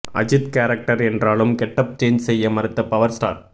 Ajith character என்றாலும் getup change செய்ய மறுத்த பவர் ஸ்டார்